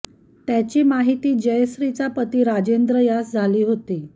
त्याची माहिती जयश्रीचा पती राजेंद्र यास झाली होती